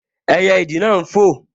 Ẹyẹ ìdì náà n fò